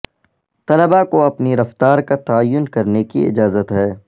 طلباء کو اپنی رفتار کا تعین کرنے کی اجازت ہے